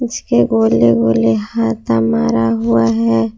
इसके गोले गोले हाता मारा हुआ है।